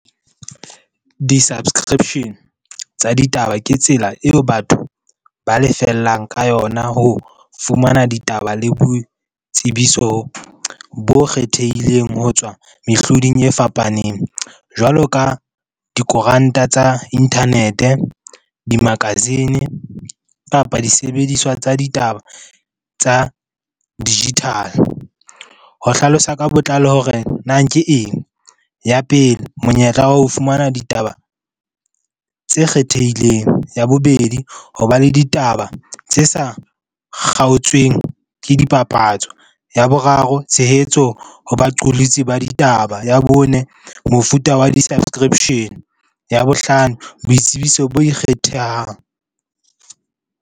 Di-subscription tsa ditaba ke tsela eo batho ba lefellang ka yona ho fumana ditaba le boitsebiso bo kgethehileng ho tswa mehloding e fapaneng. Jwalo ka dikoranta tsa internet-e, di-magazine kapa disebediswa tsa ditaba tsa digital-e. Ho hlalosa ka botlalo hore na ke eng ya pele? Monyetla wa ho fumana ditaba tse kgethehileng. Ya bobedi, ho ba le ditaba tse sa kgaotsweng ke dipapatso. Ya boraro, tshehetso ho baqolotsi ba ditaba. Ya bone, mofuta wa di-subscription-e. Ya bohlano, boitsebiso bo ikgethehang.